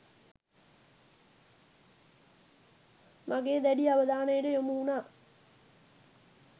මගේ දැඩි අවධානයට යොමු වුණා.